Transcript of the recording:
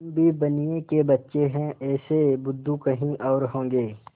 हम भी बनिये के बच्चे हैं ऐसे बुद्धू कहीं और होंगे